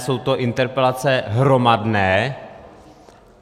Jsou to interpelace hromadné.